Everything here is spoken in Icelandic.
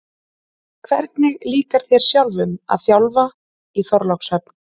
Hvernig líkar þér sjálfum að þjálfa í Þorlákshöfn?